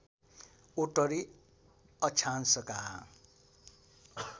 उत्तरी अक्षांशका